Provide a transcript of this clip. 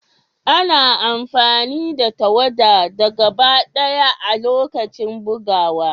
Ana amfani da tawada da gaba daya a' lokacin bugowa.